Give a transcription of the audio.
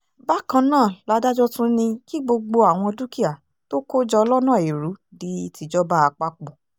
bákan náà làdájọ́ tún ní kí gbogbo àwọn dúkìá tó kó jọ lọ́nà ẹrú di tìjọba àpapọ̀